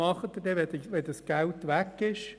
Aber was tun Sie, wenn das Geld dann weg ist?